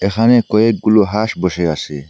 এখানে কয়েকগুলো হাঁস বসে আসে।